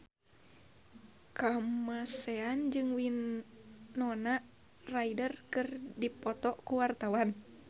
Kamasean jeung Winona Ryder keur dipoto ku wartawan